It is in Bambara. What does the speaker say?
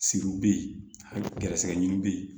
Siriw bɛ ye gɛrɛsɛgɛ ɲini bɛ ye